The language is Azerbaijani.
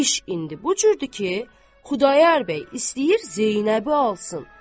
İş indi bu cürdür ki, Xudayar bəy istəyir Zeynəbi alsın.